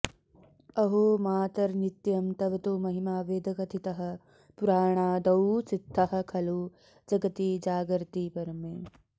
अहो मातर्नित्यं तव तु महिमा वेदकथितः पुराणादौ सिद्धः खलु जगति जागर्ति परमे